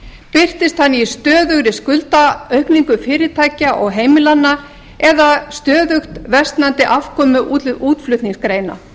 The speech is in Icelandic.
birtist hann í stöðugri skuldaaukningu fyrirtækja og heimilanna eða stöðugt versnandi afkomu útflutningsgreina